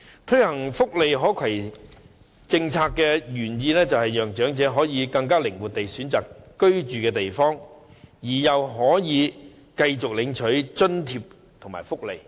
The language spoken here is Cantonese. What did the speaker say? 推行福利可攜政策的原意，是讓長者更靈活地選擇居住地方，又可以繼續領取津貼及福利。